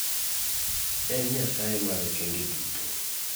En Nyasaye mar okenge duto.